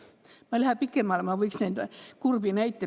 Ma ei taha minna pikale, kuigi ma võiks neid kurbi näiteid veel tuua.